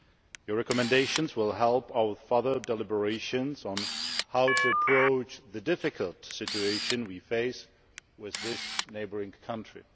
Your recommendations will help our further deliberations on how to approach the difficult situation we face with this neighbouring country.